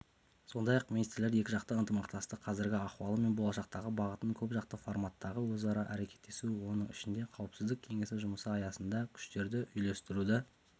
сондай-ақ министрлер екіжақты ынтымақтастықтың қазіргі ахуалы мен болашақтағы бағытын көпжақты форматтағы өзара әрекеттесу оның ішінде қауіпсіздік кеңесі жұмысы аясындағы күштерді үйлестіруді